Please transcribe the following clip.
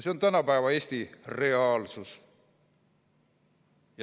See on tänapäeva Eesti reaalsus.